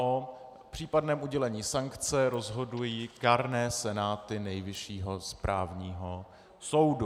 O případném udělení sankce rozhodují kárné senáty Nejvyššího správního soudu.